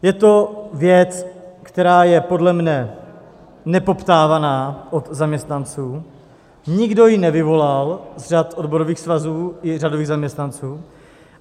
Je to věc, která je podle mě nepoptávaná u zaměstnanců, nikdo ji nevyvolal z řad odborových svazů i řadových zaměstnanců.